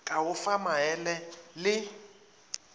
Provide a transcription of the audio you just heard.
ka go fa maele le